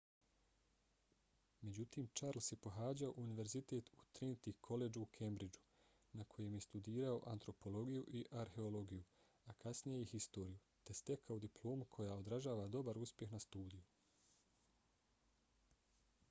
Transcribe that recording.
međutim charles je pohađao univerzitet na trinity collegeu u cambridgeu na kojem je studirao antropologiju i arheologiju a kasnije i historiju te stekao diplomu koja odražava dobar uspjeh na studiju